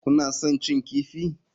Kuna son cin kifi?